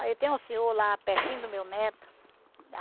Aí tem um senhor lá pertinho do meu neto.